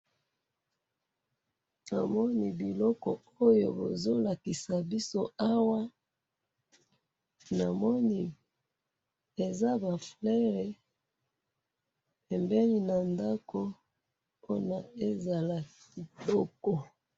Namoni biloko oyo bazo lakisa biso awa, namoni eza ba fleurs pembeni na ndako po ezala kitoko.